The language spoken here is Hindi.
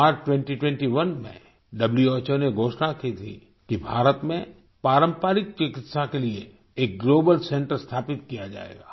मार्च 2021 में व्हो ने घोषणा की थी कि भारत में पारंपरिक चिकित्सा के लिए एक ग्लोबल सेंटर स्थापित किया जाएगा